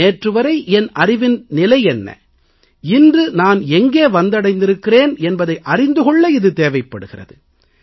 நேற்று வரை என் அறிவின் நிலை என்ன இன்று நான் எங்கே வந்தடைந்திருக்கிறேன் என்பதை அறிந்து கொள்ள இது தேவைப்படுகிறது